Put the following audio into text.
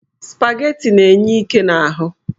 Spaghetti na-enye íké n'ahụ.